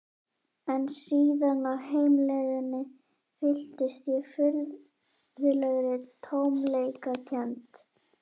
En síðan á heimleiðinni fylltist ég furðulegri tómleikakennd.